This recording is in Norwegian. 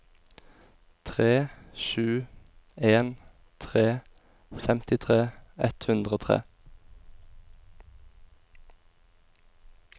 tre sju en tre femtitre ett hundre og tre